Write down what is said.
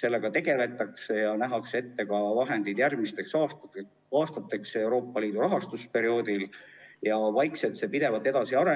Sellega tegeldakse ja nähakse ette ka vahendid järgmisteks aastateks Euroopa Liidu rahastusperioodil, see areneb vaikselt pidevalt edasi ja